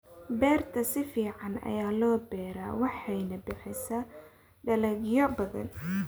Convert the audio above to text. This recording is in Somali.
Beerta si fiican ayaa loo beeraa waxayna bixisaa dalagyo badan.